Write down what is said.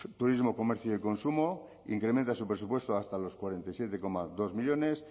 turismo comercio y consumo incrementa su presupuesto hasta los cuarenta y siete coma dos millónes